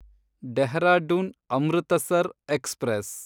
Dehradun Amritsar express